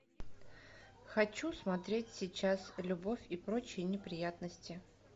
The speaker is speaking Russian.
хочу смотреть сейчас любовь и прочие неприятности